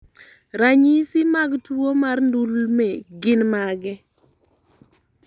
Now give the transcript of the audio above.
Ranyisi mag tuwo mar ndulme gin mage?